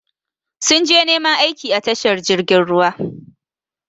Sun je neman aiki a tashar jirgin ruwa.